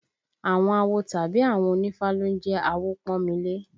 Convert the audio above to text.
Àwọn awo tàbí àwọn onífá ló ń jẹ́ Awopọ́nmilé